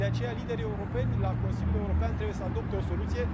De aceea, liderii europeni la Consiliul European trebuie să adopte o soluție.